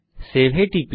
save a টিপি